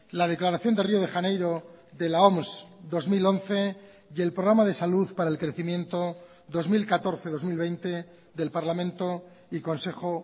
la declaración de río de janeiro de la oms dos mil once y el programa de salud para el crecimiento dos mil catorce dos mil veinte del parlamento y consejo